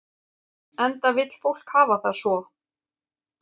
Enda vill fólk hafa það svo.